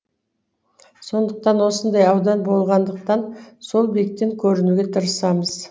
сондықтан осындай аудан болғандықтан сол биіктен көрінуге тырысамыз